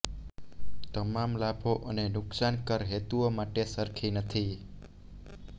તમામ લાભો અને નુકસાન કર હેતુઓ માટે સરખી નથી